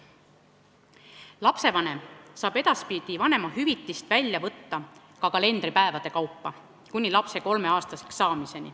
Lapsevanem saab edaspidi vanemahüvitist kuni lapse kolmeaastaseks saamiseni välja võtta ka kalendripäevade kaupa.